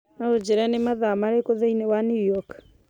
no ũnjĩĩre nĩ mathaa marĩkũ thĩinĩ wa new york